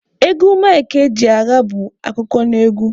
Egwu Mike Ejeagha bụ akụkọnaegwu.